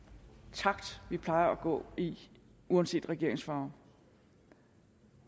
takt vi plejer at gå i uanset regeringens farve